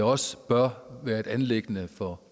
også bør være et anliggende for